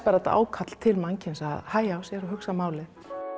ákall til mannkyns að hægja á sér og hugsa málið